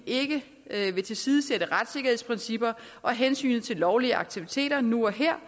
ikke vil tilsidesætte retssikkerhedsprincipper og hensynet til lovlige aktiviteter nu og her